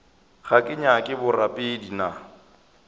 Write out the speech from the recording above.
ga ke nyake borapedi nna